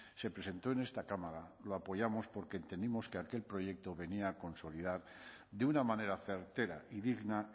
se presentó en esta cámara lo apoyamos porque entendimos que aquel proyecto venía a consolidar de una manera certera y digna